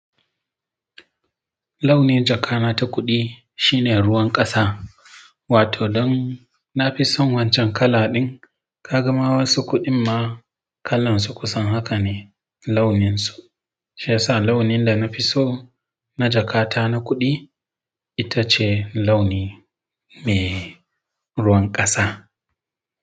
Launi jakana ta kuɗi shine ruwan ƙasa, wato dan na fi son wancan kala din. Ka ga ma wasu kuɗin ma kalan su kusan haka ne launin su, shiyasa launin da na fi so na jakata na kuɗi ita ce launi me ruwan ƙasa.